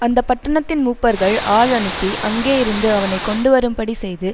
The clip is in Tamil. அந்த பட்டணத்தின் மூப்பர்கள் ஆள் அனுப்பி அங்கேயிருந்து அவனை கொண்டுவரும்படி செய்து